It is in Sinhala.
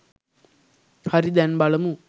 හරි දැන් බලමු